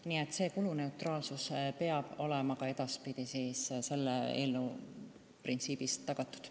Nii et kuluneutraalsus peab olema ka edaspidi tagatud.